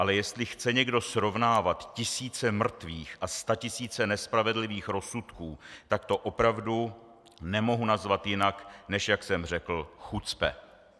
Ale jestli chce někdo srovnávat tisíce mrtvých a statisíce nespravedlivých rozsudků, tak to opravdu nemohu nazvat jinak než jak jsem řekl - chucpe.